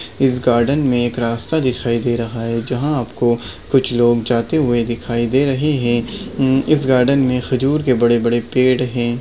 इस गार्डन में एक रास्ता दिखाई दे रहा है जहा आपको कुछ लोग जाते हुए दिखाई दे रहे है अम्म इस गार्डन खजूर के बड़े बड़े पड़े है।